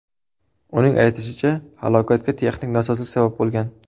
Uning aytishicha, halokatga texnik nosozlik sabab bo‘lgan.